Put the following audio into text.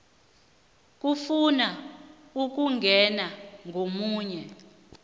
efuna ukungena komunye